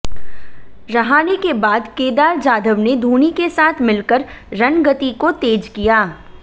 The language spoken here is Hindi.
रहाणे के बाद केदार जाधव ने धोनी के साथ मिलकर रन गति को तेज किया